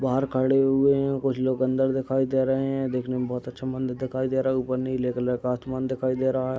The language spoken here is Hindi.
बाहर खड़े हुए हैं और कुछ लोग अंदर दिखाई दे रहें हैं। देखने में बहोत अच्छा मन्दिर दिखाई दे रहा है। ऊपर नीले कलर का आसमान दिखाई दे रहा है।